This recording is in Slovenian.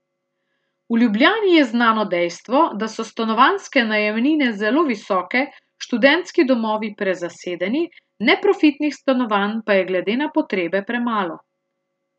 V Ljubljani je znano dejstvo, da so stanovanjske najemnine zelo visoke, študentski domovi prezasedeni, neprofitnih stanovanj pa je glede na potrebe premalo.